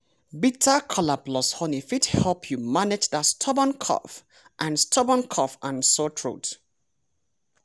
bitter kola plus honey fit help you manage dat stubborn cough and stubborn cough and sore throat.